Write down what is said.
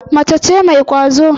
Mace ce mai kwazo.